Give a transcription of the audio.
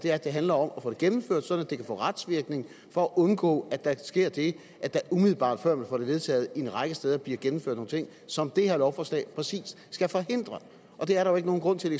er at det handler om at få det gennemført sådan at det kan få retsvirkning for at undgå at der sker det at der umiddelbart før vi får det vedtaget på en række steder bliver gennemført nogle ting som det her lovforslag præcis skal forhindre der er jo ikke nogen grund til